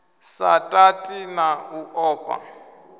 sa tati na u ofha